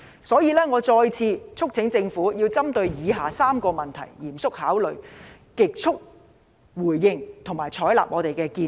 因此，我再次促請政府針對以下4個問題嚴肅考慮，極速回應，並採納我們的建議。